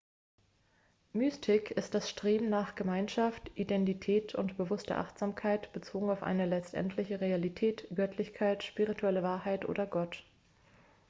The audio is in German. mystik ist das streben nach gemeinschaft identität oder bewusster achtsamkeit bezogen auf eine letztendliche realität göttlichkeit spirituelle wahrheit oder gott